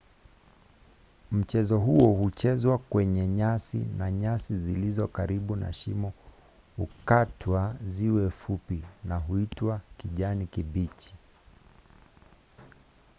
mchezo huo huchezwa kwenye nyasi na nyasi zilizo karibu na shimo hukatwa ziwe fupi na huitwa kijani kibichi